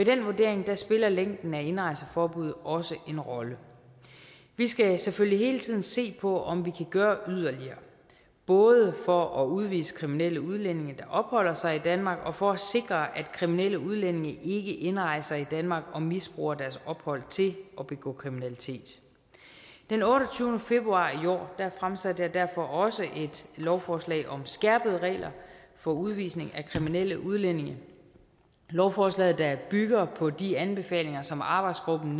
den vurdering spiller længden af indrejseforbud også en rolle vi skal selvfølgelig hele tiden se på om vi kan gøre yderligere både for at udvise kriminelle udlændinge der opholder sig i danmark og for at sikre at kriminelle udlændinge ikke indrejser i danmark og misbruger deres ophold til at begå kriminalitet den otteogtyvende februar i år fremsatte jeg derfor også et lovforslag om skærpede regler for udvisning af kriminelle udlændinge lovforslaget der bygger på de anbefalinger som arbejdsgruppen